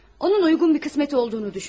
Onun uyğun bir qismət olduğunu düşündüm.